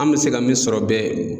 An bɛ se ka min sɔrɔ bɛɛ